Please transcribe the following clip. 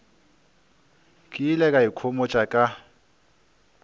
ke ile ka ikhomotša ka